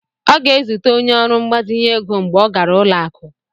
Ọ ga-ezute onye ọrụ mgbazinye ego mgbe ọ gara ụlọ akụ.